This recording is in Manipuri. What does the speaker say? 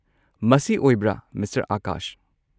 ꯃꯁꯤ ꯑꯣꯏꯕ꯭ꯔꯥ, ꯃꯤꯁꯇꯔ ꯑꯥꯀꯥꯁ?